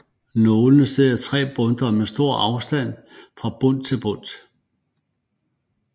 Nålene sidder 3 i bundtet og med stor afstand fra bundt til bundt